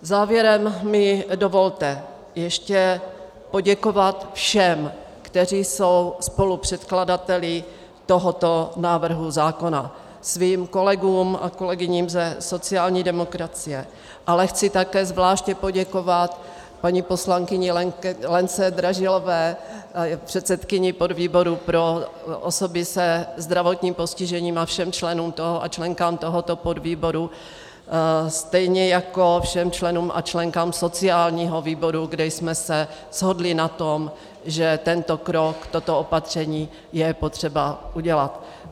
Závěrem mi dovolte ještě poděkovat všem, kteří jsou spolupředkladateli tohoto návrhu zákona, svým kolegům a kolegyním ze sociální demokracie, ale chci také zvláště poděkovat paní poslankyni Lence Dražilové, předsedkyni podvýboru pro osoby se zdravotním postižením, a všem členům a členkám tohoto podvýboru, stejně jako všem členům a členkám sociálního výboru, kde jsme se shodli na tom, že tento krok, toto opatření je potřeba udělat.